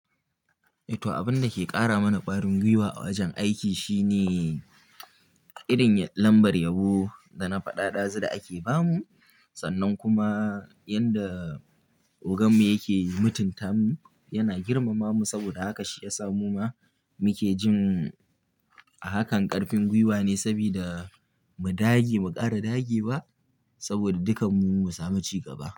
Eh to abin da ke ƙara mana ƙwarin gwiwa a wajen aiki shine irin lambar yabo da nafaɗaɗa zu da ake bamu. Sanan kuma yanda ogan mu yake mutunta mu yana girmama mu. Saboda haka shi ya samu ma muke jin ahakan ƙarfin gwiwa ne, sabida mu dage ba kara dage ba saboda dukan mu mu samu ci gaba.